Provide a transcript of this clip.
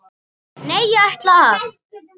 Nei, ég ætla að.